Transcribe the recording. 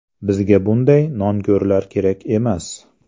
Bizga bunday nonko‘rlar kerak emas.